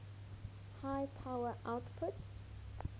high power outputs